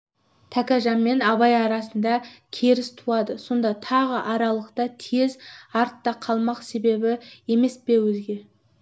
тәкежан мен абай арасында керіс туады сонда тағы аралықта тең артта қалмақ есебі емес пе өзге